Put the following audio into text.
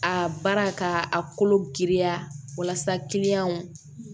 A baara ka a kolo giriya kiliyanw